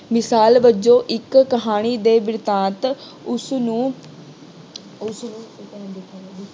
ਮਿਸਾਲ ਵਜੋਂ ਇੱਕ ਕਹਾਣੀ ਦੇ ਬਿਰਤਾਂਤ ਉਸਂਨੂੰ, ਉਸਨੂੰ